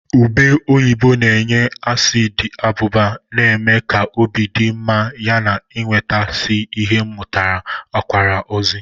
Ube oyibo na-enye asiidi abụba na-eme ka obi dị mma yana, ịnweta isi ihe metụtara akwara ozi.